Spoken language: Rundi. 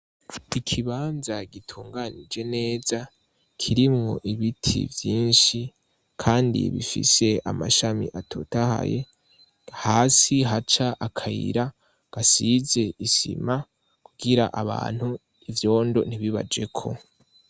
Ikibanza gitunganije neza kirimwo ibiti vyinshi kandi bifise amashami atotahaye hasi haca akayira gasize isima kugira abantu ivyondo ntibibajeko.